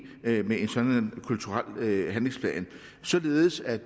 med en sådan kulturel handlingsplan således at